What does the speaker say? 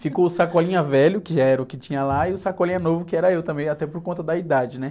Ficou o sacolinha velho, que já era o que tinha lá, e o sacolinha novo, que era eu também, até por conta da idade, né?